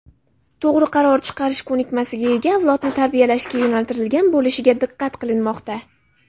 to‘g‘ri qaror chiqarish ko‘nikmasiga ega avlodni tarbiyalashga yo‘naltirilgan bo‘lishiga diqqat qilinmoqda.